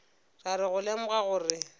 ra re go lemoga gore